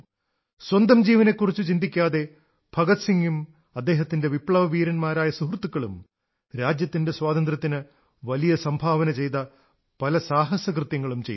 സ്വന്തം ജീവനെക്കുറിച്ചു ചിന്തിക്കാതെ ഭഗത് സിഗും അദ്ദേഹത്തിന്റെ വിപ്ലവീരന്മാരായ സുഹൃത്തുക്കളും രാജ്യത്തിന്റെ സ്വാതന്ത്ര്യത്തിനു വലിയ സംഭാവന ചെയ്ത പല സാഹസകൃത്യങ്ങളും ചെയ്തു